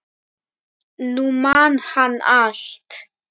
Nú man hann allt.